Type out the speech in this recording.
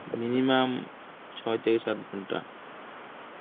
minimum ছয় থেকে সাত ঘন্টা.